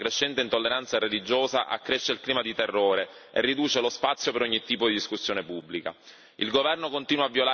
Come se non bastasse, la crescente intolleranza religiosa accresce il clima di terrore e riduce lo spazio per ogni tipo discussione pubblica.